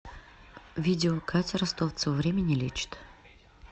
видео катя ростовцева время не лечит